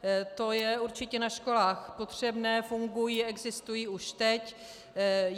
To je určitě na školách potřebné, fungují, existují už teď.